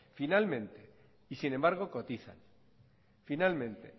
finalmente y sin embargo cotizan finalmente